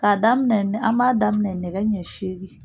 K'a daminɛ nɛ an m'a daminɛ nɛgɛ ɲɛ seegin.